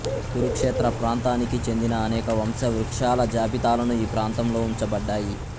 కురుక్షేత్ర ప్రాంతానికి చెందిన అనేక వంశ వృక్షాల జాబితాలను ఈ ప్రాంతం లో ఉంచబడ్డాయి